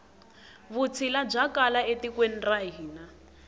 vutshila bya kala e tikweni ra hina